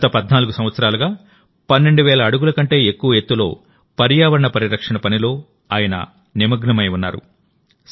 గత 14 సంవత్సరాలుగా 12000 అడుగుల కంటే ఎక్కువ ఎత్తులో పర్యావరణ పరిరక్షణ పనిలో ఆయనఅ నిమగ్నమై ఉన్నారు